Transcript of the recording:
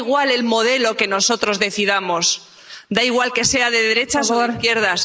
Da igual el modelo que nosotros decidamos, da igual que sea de derechas o de izquierdas.